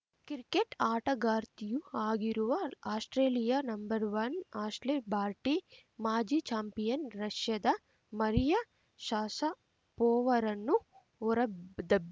cricket ಆಟಗಾರ್ತಿಯೂ ಆಗಿರುವ Australia number one Ashleigh Barty ಮಾಜಿ ಚಾಂಪಿಯನ್‌ ರಷ್ಯಾದ ಮರಿಯಾ ಶಷಪೋವರನ್ನು ಹೊರದಬ್